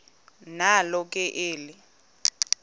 nalo ke eli